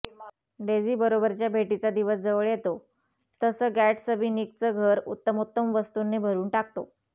डेझीबरोबरच्या भेटीचा दिवस जवळ येतो तसं गॅटसबी निकचं घर उत्तमोत्तम वस्तूंनी भरुन टाकतो